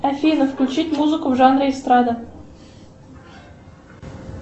афина включить музыку в жанре эстрада